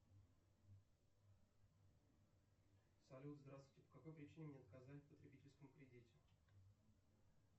салют здравствуйте по какой причине мне отказали в потребительском кредите